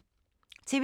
TV 2